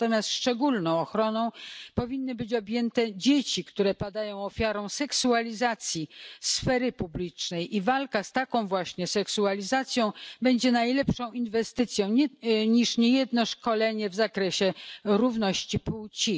Natomiast szczególną ochroną powinny być objęte dzieci, które padają ofiarą seksualizacji sfery publicznej i walka z taką właśnie seksualizacją będzie lepszą inwestycją niż niejedno szkolenie w zakresie równości płci.